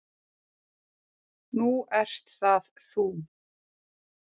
Nú ert það þú.